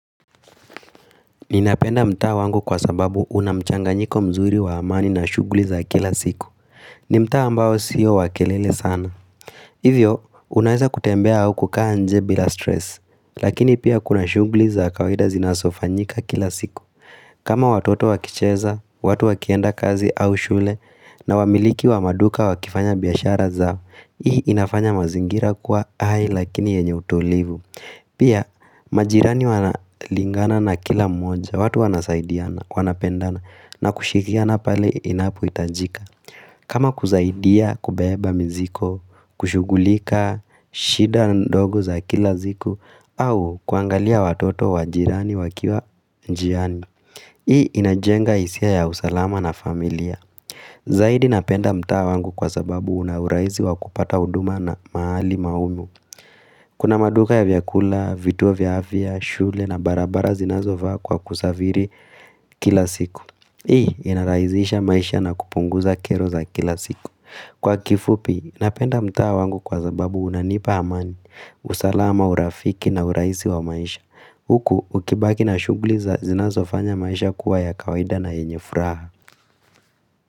Ninapenda mtaa wangu kwa sababu unamchanganyiko mzuri wa amani na shughuli za kila siku. Ni mtaa ambao sio wa kelele sana. Hivyo, unweiza kutembea au kukaa nje bila stress. Lakini pia kuna shughuli za kawaida zinazofanyika kila siku. Kama watoto wakicheza, watu wakienda kazi au shule, na wamiliki wa maduka wakifanya biashara zao, hii inafanya mazingira kwa hai lakini yenye utulivu. Pia majirani wanalingana na kila mmoja, watu wanasaidiana, wanapendana na kushikiana pale inapohitajika kama kusaidia kubeba mzigo, kushughulika, shida ndogo za kila ziku au kuangalia watoto, wajirani, wakiwa njiani Hii inajenga hisia ya usalama na familia Zaidi napenda mtaa wangu kwa sababu una urahisi wa kupata huduma na mahali maumu Kuna maduka ya vyakula, vituo vya afya, shule na barabara zinazofaa kwa kusafiri kila siku. Hii, inarahisisha maisha na kupunguza kero za kila siku. Kwa kifupi, napenda mtaa wangu kwa sababu unanipa amani, usalama, urafiki na urahisi wa maisha. Huku, ukibaki na shughuli za zinazofanya maisha kuwa ya kawaida na yenye furaha.